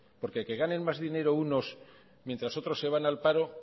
porque que ganen más dinero unos mientras otros se van al paro